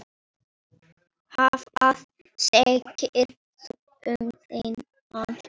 Hvað segir þú um þennan?